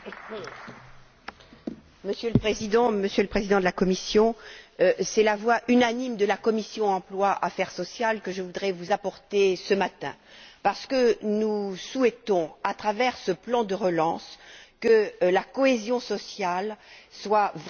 Monsieur le Président, Monsieur le Président de la Commission, c'est la voix unanime de la commission de l'emploi et des affaires sociales que je voudrais vous apporter ce matin, parce que nous souhaitons, à travers ce plan de relance, que la cohésion sociale soit vraiment mise en valeur.